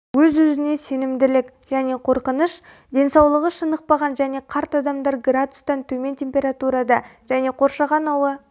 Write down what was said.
өзі-өзіне сенімділік және қорқыныш денсаулығы шынықпаған және қарт адамдар градустан төмен температурада және қоршаған ауа